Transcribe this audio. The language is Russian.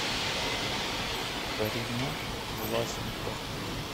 карина власенко